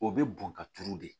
O bɛ bɔn ka turu de